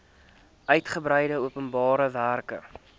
uigebreide openbare werke